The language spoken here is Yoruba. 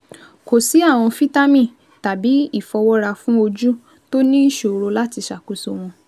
kò sí àwọn fítámì tàbí ìfọwọ́ra fún ojú tó ní ìṣòro láti ṣàkóso wọn